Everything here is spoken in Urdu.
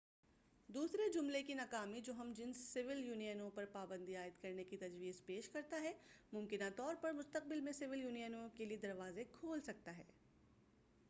دوسرے جملے کی ناکامی جو ہم جنس سول یونینوں پر پابندی عائد کرنے کی تجویز پیش کرتا ہے ممکنہ طور پر مستقبل میں سول یونینوں کیلئے دروازے کھول سکتا ہے